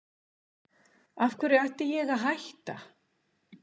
Af hverju ætti ég að hætta?